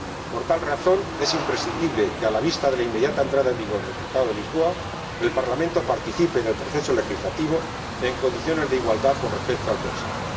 Por tal razón, es imprescindible que, a la vista de la inmediata entrada en vigor del Tratado de Lisboa, el Parlamento participe en el proceso legislativo en condiciones de igualdad con respecto al Consejo.